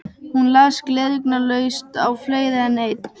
Hún las gleraugnalaust á fleiri en einn